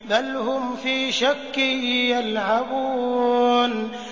بَلْ هُمْ فِي شَكٍّ يَلْعَبُونَ